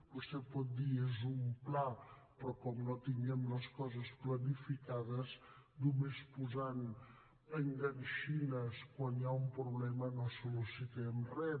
vostè pot dir és un pla però com no tinguem les coses clarificades només posant enganxines quan hi ha un problema no solucionem res